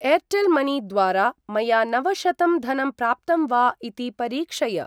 Airtel money द्वारा मया नवशतं धनं प्राप्तं वा इति परीक्षय?